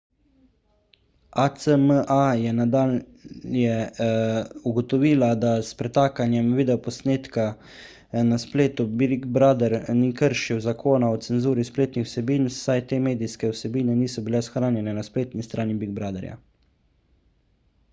acma je nadalje ugotovila da s pretakanjem videoposnetka na spletu big brother ni kršil zakona o cenzuri spletnih vsebin saj te medijske vsebine niso bile shranjene na spletni strani big brotherja